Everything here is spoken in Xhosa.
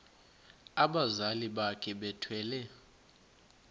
abazali bakhe bethwele